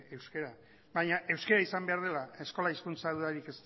euskara baina euskara izan behar dela eskola hizkuntza dudarik